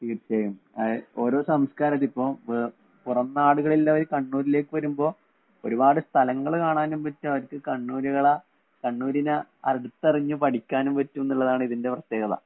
തീര്‍ച്ചയായും, ഓരോ സംസ്കാരം ഉണ്ട്. ഇപ്പൊ പുറം നാടുകളില്‍ നിന്നും കണ്ണൂരിലേക്ക് വരുമ്പോള്‍ ഒരു പാട് സ്ഥലങ്ങള്‍ കാണാനും പറ്റും. അവര്‍ക്ക് കണ്ണൂരുകളെ - കണ്ണൂരിനെ അടുത്തറിഞ്ഞ്‌ പഠിക്കാനും, പറ്റുമെന്നുള്ളതാണ് ഇതിന്‍റെ പ്രത്യേകത.